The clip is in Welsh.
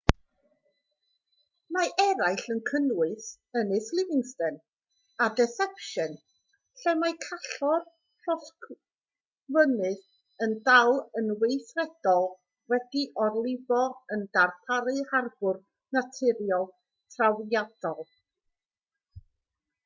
mae eraill yn cynnwys ynys livingston a deception lle mae callor llosgfynydd sy'n dal yn weithredol wedi'i orlifo yn darparu harbwr naturiol trawiadol